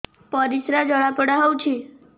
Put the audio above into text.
ପରିସ୍ରା ଜଳାପୋଡା ହଉଛି